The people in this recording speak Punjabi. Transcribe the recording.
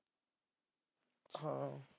ਹਾਂ